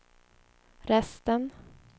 resten